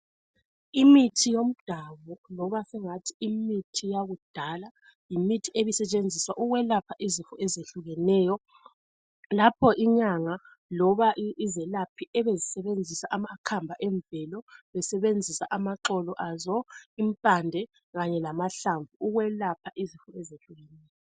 imithi yomdalo loba singathi imithi yakudala yimithi ebisetshenziswa ukwelapha izifo ezehlukeneyo lapho inyanga loba izelaphi zisebenzisa amakhamba emvelo besebenzisa amaxolo azo impande kanye lamahlamvu ukwelapha izifo ezehlukeneyo